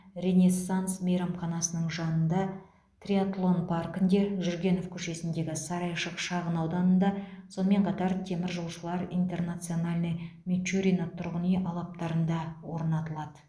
ренессанс мейрамханасының жанына триатлон паркінде жүргенов көшесіндегі сарайшық шағын ауданында сонымен қатар теміржолшылар интернациональный мичурино тұрғын үй алаптарында орнатылады